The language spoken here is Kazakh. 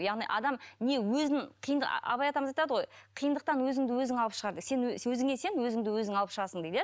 яғни адам не өзін абай атамыз айтады ғой қиындықтан өзіңді өзің алып шығар деп сен өзіңе сен өзіңді өзің алып шығасың дейді иә